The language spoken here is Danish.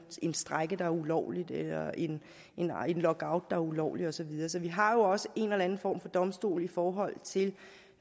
en strejke der er ulovlig eller en lockout der er ulovlig og så videre så vi har jo også en eller anden form for domstol i forhold til